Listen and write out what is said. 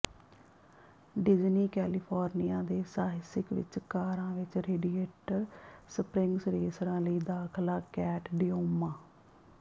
ਡਿਜੀਨੀ California ਦੇ ਸਾਹਿਸਕ ਵਿੱਚ ਕਾਰਾਂ ਵਿੱਚ ਰੇਡੀਏਟਰ ਸਪ੍ਰਿੰਗਸ ਰੇਸਰਾਂ ਲਈ ਦਾਖ਼ਲਾ ਕੈਟ ਡਿਓਮਾ